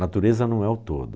Natureza não é o todo.